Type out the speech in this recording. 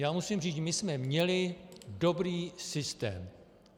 Já musím říct, my jsme měli dobrý systém.